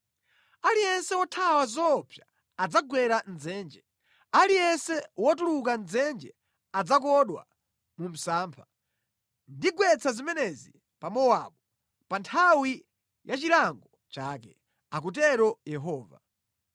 “Aliyense wothawa zoopsa adzagwera mʼdzenje, aliyense wotuluka mʼdzenje adzakodwa mu msampha. Ndigwetsa zimenezi pa Mowabu pa nthawi ya chilango chake,” akutero Yehova.